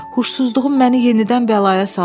Huşsuzluğum məni yenidən bəlaya saldı.